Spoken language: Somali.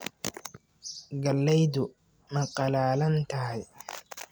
Galleydu ma qallalan tahay?